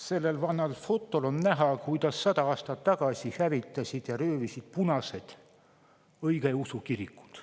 Sellel vanal fotol on näha, kuidas sada aastat tagasi hävitasid ja röövisid punased õigeusu kirikuid.